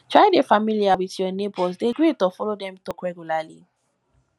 try de familiar with your neighbors de greet or follow dem talk regularly